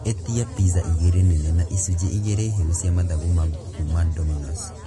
ĩtia pizza igĩrĩ nene na icunjĩ igĩrĩ hĩu cia mathagu ma ngũkũ kuuma dominoes